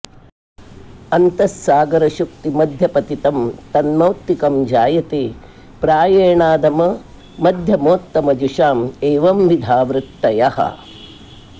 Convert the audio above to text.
अन्तः सागर शुक्ति मध्य पतितं तन्मौक्तिकं जायते प्रायेणाधम मध्यमोत्तम जुषां एवंविधा वृत्तयः